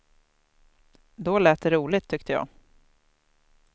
Då lät det roligt, tyckte jag.